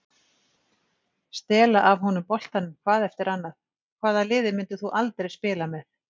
Stela af honum boltanum hvað eftir annað Hvaða liði myndir þú aldrei spila með?